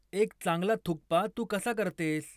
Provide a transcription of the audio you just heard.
एक चांगला थुक्पा तू कसा करतेस?